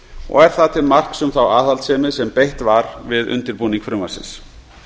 og er það til marks um þá aðhaldssemi sem beitt var við undirbúning frumvarpsins